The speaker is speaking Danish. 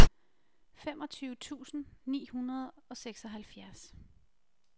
femogtyve tusind ni hundrede og seksoghalvfjerds